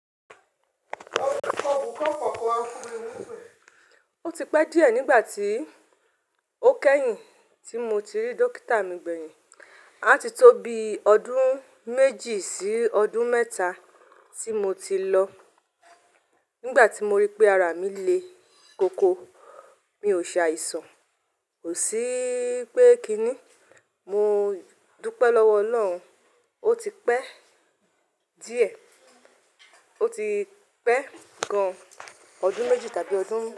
O ti pẹ́ díẹ̀ nígbà tí ó kẹ́yìn tí mo ti rí dókítà mi gbẹ̀yìn. A ti tó bi ọdún méjì sí ọdún mẹ́ta tí mo ti lọ. Nígbà tí mo rí pé ara mi le koko, mi ò ṣe àìsàn, ò sí pé kí ni. Mo dúpẹ́ lọ́wọ́ Ọlọ́run, ó ti pẹ́ díẹ̀, ó ti pẹ́ gan ọdún méjì tàbí ọdún mẹ́ta.